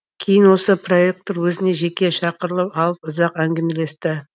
кейін осы проектор өзіне жеке шақырып алып ұзақ әңгімелесті